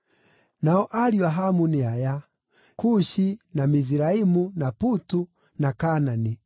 Nao ariũ a Hamu nĩ aya: Kushi, na Miziraimu, na Putu, na Kaanani.